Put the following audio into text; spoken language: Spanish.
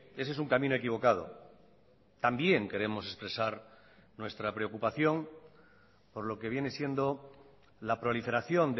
ese es un camino equivocado también queremos expresar nuestra preocupación por lo que viene siendo la proliferación